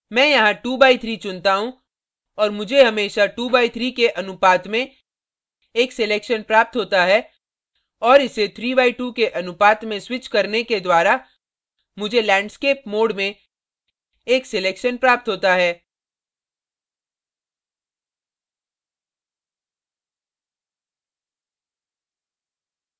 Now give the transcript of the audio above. मैं यहाँ 2 by 3 चुनता हूँ और मुझे हमेशा 2 by 3 के अनुपात में एक selection प्राप्त होता है और इसे 3 by 2 के अनुपात में स्विच करने के द्वारा मुझे landscape mode में एक selection प्राप्त होता है